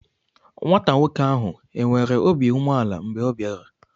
Nwata nwoke ahụ enwere obi umeala mgbe ọ bịara?